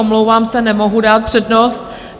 Omlouvám se, nemohu dát přednost.